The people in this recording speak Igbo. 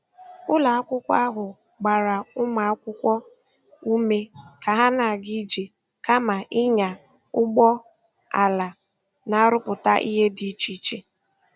Ụlọ akwụkwọ ahụ gbara ụmụ akwụkwọ ume ka ha na-aga ije kama ịnya ụgbọ ala, na-arụpụta ihe dị iche iche.